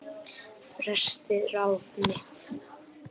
Festi ráð mitt